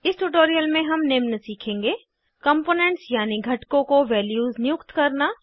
इस ट्यूटोरियल में हम निम्न सीखेंगे कंपोनेंट्स यानी घटकों को वैल्यूज़ नियुक्त करना